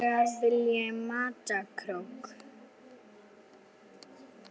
ellegar vilji mata krók.